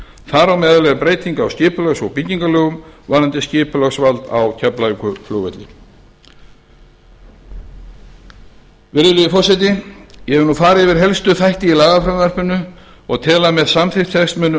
á meðal er breyting á skipulags og byggingarlögum varðandi skipulagsvald á keflavíkurflugvelli herra forseti ég hef nú farið yfir helstu þætti í lagafrumvarpinu og tel að með samþykkt þess muni